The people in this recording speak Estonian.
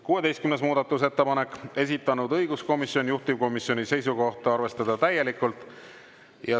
16. muudatusettepanek, esitanud õiguskomisjon, juhtivkomisjoni seisukoht: arvestada täielikult.